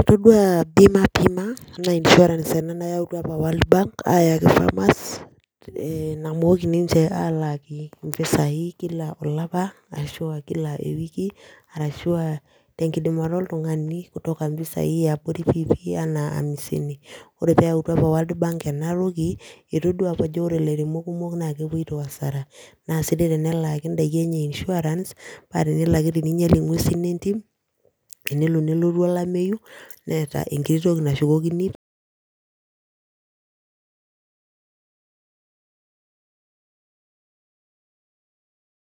Itoduo Pima Bima naa insurance ena nayautua apa World Bank aayaki farmers ee namooki ninche aalaki mpisaai kila olapa arashu aa kila ewiki arashu aa tenkidimata oltung'ani kutoka mpisaai e abori piipii enaa amisini, ore pee eyautua apa World Bank ena toki etoduaa apa ajo ore ilairemok kumok naa ekepoito hasara naa sidai tenelaaki ndaiki enye insurance paa tenelo ake niinyial nguesin entim, tenelo nelotu olameyu neeta enkiti toki nashukokini,